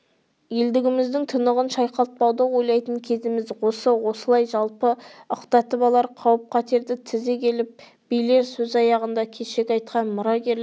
елдігіміздің тұнығын шайқалтпауды ойлайтын кезіміз осы осылай жалпы ықтатып алар қауіп-қатерді тізе келіп билер сөз аяғында кешегі айтқан мұрагерлік